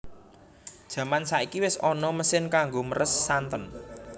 Jaman saiki wis ana mesin kanggo meres santen